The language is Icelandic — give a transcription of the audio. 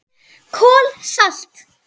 KOL SALT